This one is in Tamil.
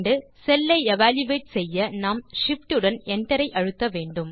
செல்லை எவல்யூயேட் செய்ய நாம் Shift உடன் Enter ஐ அழுத்த வேண்டும்